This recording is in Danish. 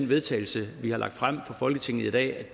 vedtagelse vi har lagt frem for folketinget i dag